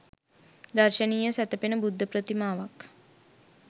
දර්ශනීය සැතපෙන බුද්ධ ප්‍රතිමාවක්